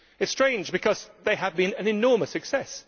This is strange, because they had been an enormous success.